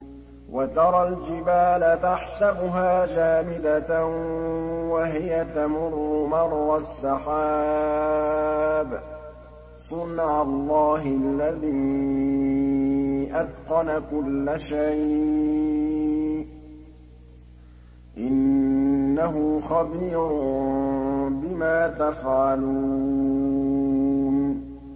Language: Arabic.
وَتَرَى الْجِبَالَ تَحْسَبُهَا جَامِدَةً وَهِيَ تَمُرُّ مَرَّ السَّحَابِ ۚ صُنْعَ اللَّهِ الَّذِي أَتْقَنَ كُلَّ شَيْءٍ ۚ إِنَّهُ خَبِيرٌ بِمَا تَفْعَلُونَ